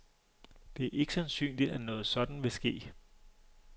Det er ikke sandsynligt, at noget sådant vil ske.